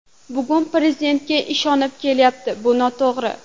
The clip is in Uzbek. Bugun Prezidentga ishonib kelyapti, bu noto‘g‘ri.